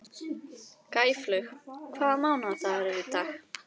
Gæflaug, hvaða mánaðardagur er í dag?